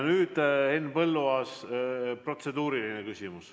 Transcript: Henn Põlluaas, protseduuriline küsimus.